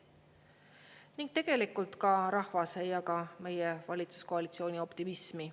Ning tegelikult ka rahvas ei jaga meie valitsuskoalitsiooni optimismi.